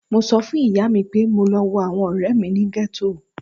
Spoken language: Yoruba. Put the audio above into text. Mo sọ fun iya mi pe mo lọ wo awọn ọrẹ mi ni ghetto